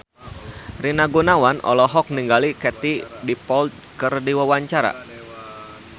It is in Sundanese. Rina Gunawan olohok ningali Katie Dippold keur diwawancara